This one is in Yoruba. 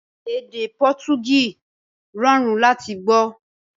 Èdè Pọtugí rọrùn láti gbọ́